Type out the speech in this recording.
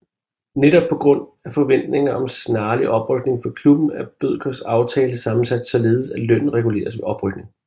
Netop på grund af forventningen om snarlig oprykning for klubben er Bødkers aftale sammensat således at lønnen reguleres ved oprykning